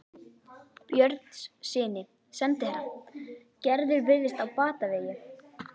Björnssyni sendiherra: Gerður virðist á batavegi.